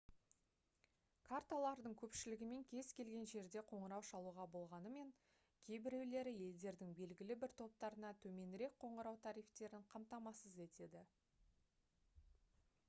карталардың көпшілігімен кез келген жерде қоңырау шалуға болғанымен кейбіреулері елдердің белгілі бір топтарына төменірек қоңырау тарифтерін қамтамасыз етеді